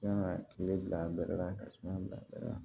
Yan kile bila bɛɛ la ka suma bila